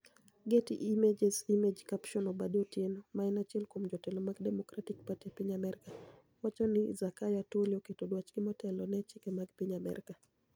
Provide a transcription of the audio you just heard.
Getty Images Image captioni Obadia Otieno, ma eni achiel kuom jotelo mag Democratic Party e piniy Amerka, wacho nii Zakayo Atwoli oketo dwachgi motelo ni e chike mag piniy Amerka.